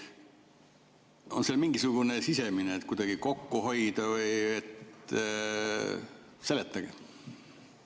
Või on sellel mingisugune sisemine, et kuidagi kokku hoida või?